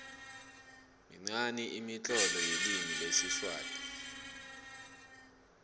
minqani imitlolo yelimi lesiswati